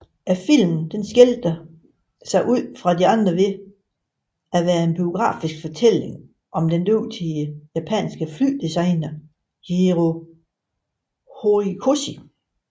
Filmen skiller sig ud fra de andre ved at være en biografisk fortælling om den dygtige japanske flydesigner Jiro Horikoshi